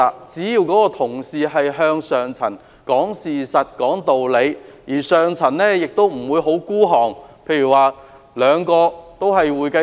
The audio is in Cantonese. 只要下層同事是向上層講事實、講道理，而上層也不應過於吝嗇，例如兩位都是會計師。